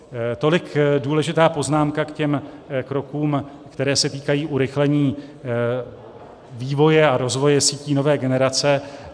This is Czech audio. Tolik důležitá poznámka k těm krokům, které se týkají urychlení vývoje a rozvoje sítí nové generace.